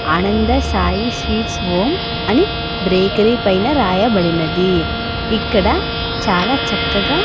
ఆనంద Sai sweets home అని bakery పైన రాయబడినది ఇక్కడ చాలా చక్కగా.